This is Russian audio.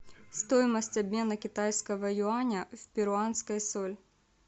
стоимость обмена китайского юаня в перуанскую соль